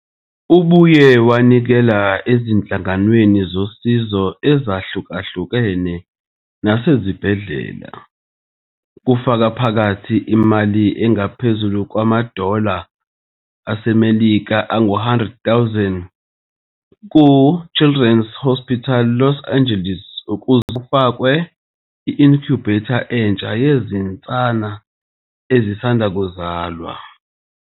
Ubuye wanikela ezinhlanganweni zosizo ezahlukahlukene nasezibhedlela, kufaka phakathi imali engaphezulu kwama- dollar asemelika angu-100,000 ku- Children's Hospital Los Angeles ukuze kufakwe i-incubator entsha yezinsana ezisanda kuzalwa.